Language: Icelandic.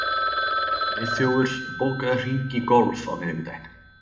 Friðþjófur, bókaðu hring í golf á miðvikudaginn.